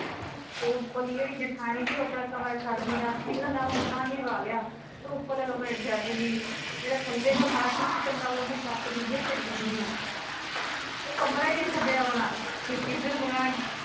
ਤੇ ਉਪਰਲੀ ਜਿਹੜੀ ਜਠਣੀ ਤੀ ਉਹ ਆਪਣਾ ਕਮਰਾ ਛੱਡਦੀ ਨਸ ਤੀ, ਉਹਨੇ ਨਵਾਂ ਮਕਾਨ ਵੀ ਪਾ ਲਿਆ, ਉਪਰਲਾ ਕਮਰਾ ਨੀ ਛੱਡਦੀ ਤੀ, ਜਿਹੜਾ ਥੱਲੇ ਤਾਂ ਸਾਰਾ ਟੁੱਟ ਚਲਾ ਵਾ ਤਾਂ ਉਹਦੀ ਛੱਤ ਵੀ ਗਿਰ ਚਲੀ ਵੀ ਤੀ ਉਹ ਕਮਰਾ ਈ ਨਾ ਛੱਡੇ ਆਪਣਾ, ਫਿਰ ਜਿਸ ਦਿਨ ਮਕਾਨ